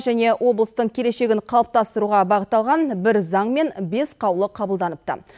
және облыстың келешегін қалыптастыруға бағытталған бір заң мен бес қаулы қабылданыпты